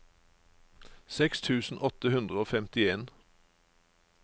seks tusen åtte hundre og femtien